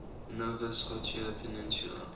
nova scotia peninsula